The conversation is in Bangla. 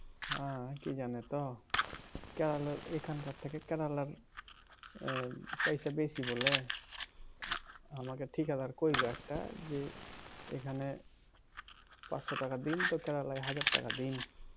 হ্যাঁ কি জানো তো কেরালার এখানকার থেকে কেরালার আহ পয়সা বেশি বলে আমাকে ঠিকাদার কইল একটা যে এখানে পাঁচশো টাকা দিন তো কেরালায় হাজার টাকা দিন